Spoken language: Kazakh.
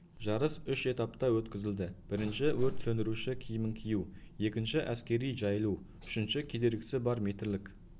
жарыс үш этапта өткізілді бірінші өрт сөндіруші киімін кию екінші әскери жайылу үшінші кедергісі бар метрлік